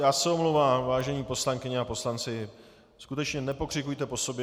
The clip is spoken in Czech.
Já se omlouvám, vážené poslankyně a poslanci, skutečně, nepokřikujte po sobě.